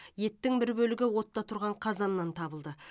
еттің бір бөлігі отта тұрған қазаннан табылды